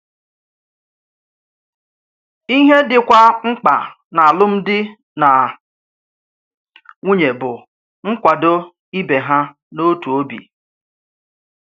Ìhè dịkwa mkpa n’álụ́m̀dí nà nwùnyè bù nkwàdọ̀ ìbè há n’òtù òbì.